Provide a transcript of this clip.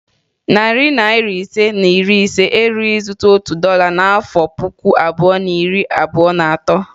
Narị naịra ise na iri ise erughi ịzụta otu dọla n'afọ puku abụọ na iri abụo na atọ.